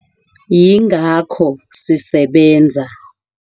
Yingakho sisebenza.